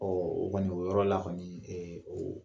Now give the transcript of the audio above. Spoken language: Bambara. Ɔ o kɔni o yɔrɔ la kɔni ɛ o